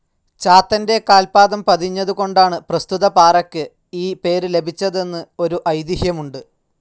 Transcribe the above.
ചാത്തന്റെ കാൽപാദം പതിഞ്ഞതുകൊണ്ടാണ്‌ പ്രസ്തുത പാറയ്ക്ക്‌ ഈ പേര്‌ ലഭിച്ചതെന്ന്‌ ഒരു ഐതിഹ്യമുണ്ട്‌.